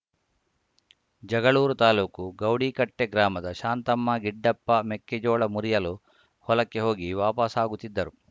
ಜಗಳೂರು ತಾಲೂಕು ಗೌಡಿಕಟ್ಟೆಗ್ರಾಮದ ಶಾಂತಮ್ಮ ಗಿಡ್ಡಪ್ಪ ಮೆಕ್ಕೆಜೋಳ ಮುರಿಯಲು ಹೊಲಕ್ಕೆ ಹೋಗಿ ವಾಪಾಸ್ಸಾಗುತ್ತಿದ್ದರು